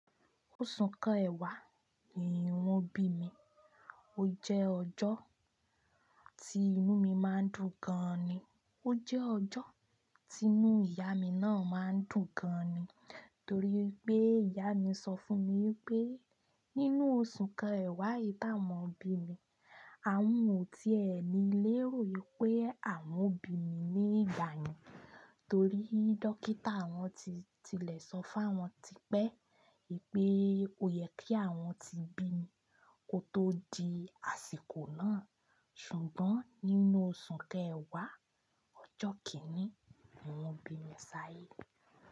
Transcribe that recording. Oṣù kẹwà ni wọ́n bí mi. Ó jẹ́ ọjọ́ tí inú mi máa ń dùn gan ni. Ó jẹ́ ọjọ́ tí inú ìyá mi náà máa ń dùn gan ni. Torí pé ìyá mi sọ fún mi wípé nínú oṣù kẹwà yìí táwọn bí mi, àwọn ò tí è ní lé rò wípé àwọn bí mi ní ìgbà yẹn. Torí dókítà àwọn ti tilẹ̀ sọ fáwọn tipẹ́ ìpè o yẹ kí àwọn ti bí mi kó tó di àsìkò náà. Ṣùgbọ́n nínú oṣù kẹwà, ọjọ́ kìnní ni wọ́n bí mi sáyé.